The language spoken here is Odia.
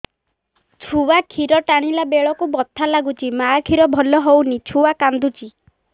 ଛୁଆ ଖିର ଟାଣିଲା ବେଳକୁ ବଥା ଲାଗୁଚି ମା ଖିର ଭଲ ହଉନି ଛୁଆ କାନ୍ଦୁଚି